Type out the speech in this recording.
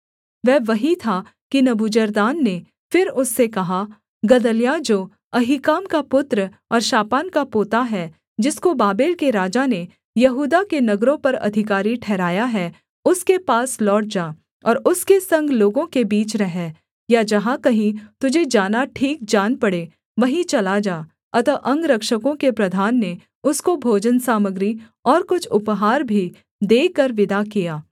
वह वहीं था कि नबूजरदान ने फिर उससे कहा गदल्याह जो अहीकाम का पुत्र और शापान का पोता है जिसको बाबेल के राजा ने यहूदा के नगरों पर अधिकारी ठहराया है उसके पास लौट जा और उसके संग लोगों के बीच रह या जहाँ कहीं तुझे जाना ठीक जान पड़े वहीं चला जा अतः अंगरक्षकों के प्रधान ने उसको भोजनसामग्री और कुछ उपहार भी देकर विदा किया